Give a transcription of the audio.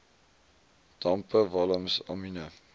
dampe walms amiene